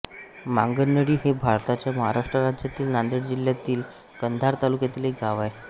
मांगनळी हे भारताच्या महाराष्ट्र राज्यातील नांदेड जिल्ह्यातील कंधार तालुक्यातील एक गाव आहे